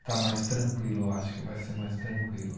Está mais tranquilo, acho que vai ser mais tranquilo.